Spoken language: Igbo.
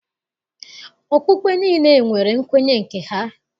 Okpukpe niile nwere nkwenye nke ha.